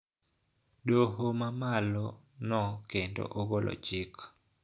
Doho ma malo no kendo ogolo chik